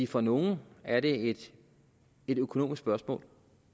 for nogle er det et økonomisk spørgsmål